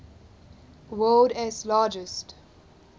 world s largest